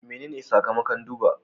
Menene sakamakon duba?